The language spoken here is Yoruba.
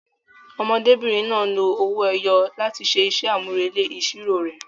Ọmọdébìnrin náà lo owó ẹyọ láti ṣe iṣẹ́ àmúrelé ìṣirò rẹ̀.